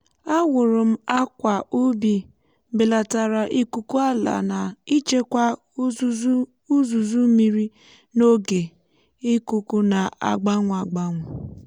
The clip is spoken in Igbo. a wụrụ m àkwà ubi belatara ikuku ala na ichekwa úzùzù mmiri n’oge ikuku na-agbanwe agbanwe.